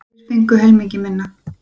Aðrir fengu helmingi minna.